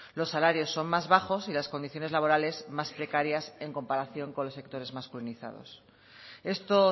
los salarios son más bajos y las condiciones laborales más precarias en comparación con los sectores masculinizados esto